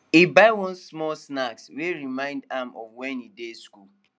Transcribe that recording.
he buy one small snack wey remind am of when he dey school